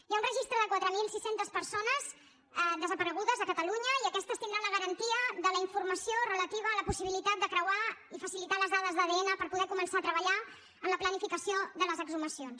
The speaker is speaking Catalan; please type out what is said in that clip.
hi ha un registre de quatre mil sis cents persones desaparegudes a catalunya i aquestes tindran la garantia de la informació relativa a la possibilitat de creuar i facilitar les dades d’adn per poder començar a treballar en la planificació de les exhumacions